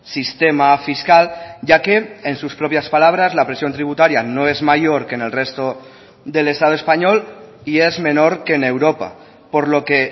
sistema fiscal ya que en sus propias palabras la presión tributaria no es mayor que en el resto del estado español y es menor que en europa por lo que